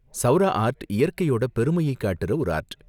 Saura art இயற்கையோட பெருமையை காட்டுற ஒரு ஆர்ட்.